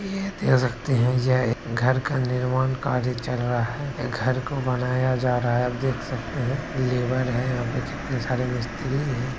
देख सकते हैं ये घर का निर्माण कार्य चल रहा है या घर को बनाया जा रहा है आप देख सकते हैं लेबर है यहाँ पे कितने सारे मिस्त्री है।